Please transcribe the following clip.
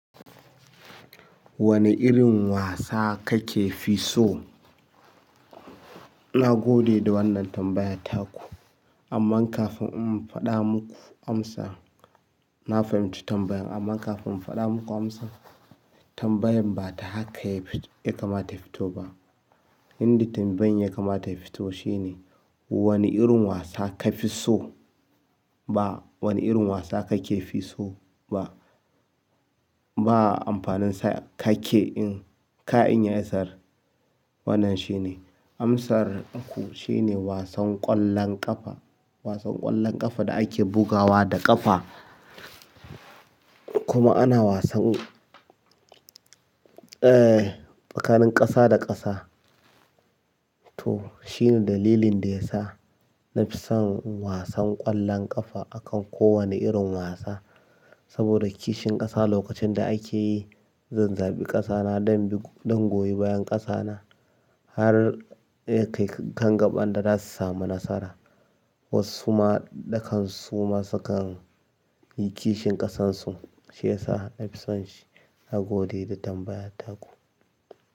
Wane irin wasa kake fi so? Na gode da wannan tambaya taku, amma kafin in faɗa muku amsa, na fahimci tambayan amma kafin in faɗa muku amsa. Tambayan ba ta haka yafi ya kamata ya fito ba. Inda tambayan ya kamata ya fito shine, wane irin wasa ka fi so ba wane irin wasa kake fi so ba. Ba'a amfaninsa kake in ka'in yayi asar. Wannan shine, amsar ku shine wasan ƙwallon ƙafa. Wasan ƙwallon ƙafa da ake bugawa da ƙafa. Kuma ana wasan, tsakanin ƙasa da ƙasa. To shine dalilin da ya sa na fi son wasan ƙwallon ƙafa akan kowane irin wasa. Saboda kishin ƙasa lokacin da ake, zan zaɓi ƙasa na don goyi bayan ƙasa na har. Kai kan gaɓan da za su samu nasara. Wasu ma dakan su ma sukan yi kishin ƙasan su, shi ya sa na fi son shi. Na gode da tambayar taku.